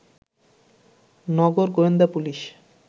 নগর গোয়েন্দা পুলিশ